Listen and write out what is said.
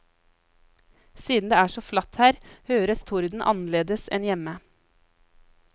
Siden det er så flatt her høres torden annerledes enn hjemme.